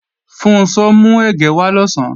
Funṣọ́ mú ẹ̀gẹ́ wá lọ̀sán